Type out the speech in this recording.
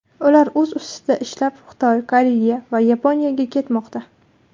Ular o‘z ustida ishlab, Xitoy, Koreya va Yaponiyaga ketmoqda.